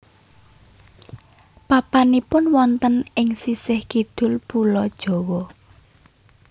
Papanipun wonten ing sisih kidul Pulo Jawa